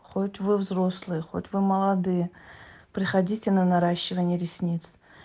хоть вы взрослые хоть вы молодые приходите на наращивание ресниц